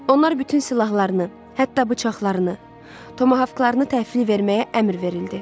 Onlar bütün silahlarını, hətta bıçaqlarını, tomahavklarını təhvil verməyə əmr verildi.